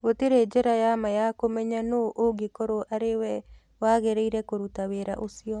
Gũtirĩ njĩra ya ma ya kũmenya nũũ ũgũkorũo arĩ we wagĩrĩire kũruta wĩra ũcio.